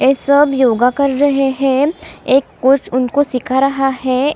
ये सब योगा कर रहे हैं एक कोच उनको सीखा रहा है ।